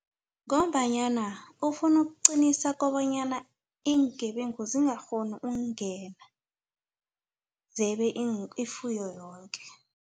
Ngombanyana ufuna ukuqinisa kobanyana iingebengu zingakghoni ungena zebe ifuyo yonke.